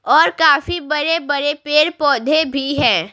और काफी बड़े-बड़े पेड़-पौधे भी है।